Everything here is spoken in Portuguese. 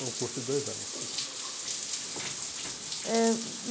Foi um curso de dois anos que eu fiz. Eh e